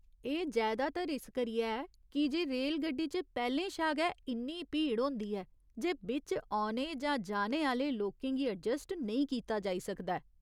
एह् जैदातर इस करियै ऐ कीजे रेलगड्डी च पैह्‌लें शा गै इन्नी भीड़ होंदी ऐ जे बिच्च औने जां जाने आह्‌ले लोकें गी अजस्ट नेईं कीता जाई सकदा ऐ।